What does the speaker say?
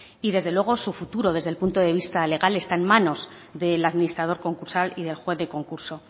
y desde luego su futuro desde el punto de vista legal está en manos del administrador concursal y del juez del concurso